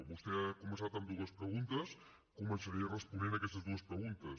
vostè ha començat amb dues preguntes començaré responent a aquestes dues preguntes